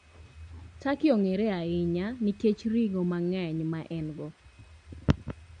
Turkey ong'ere ahinya nikech ring'o mang'eny ma en-go.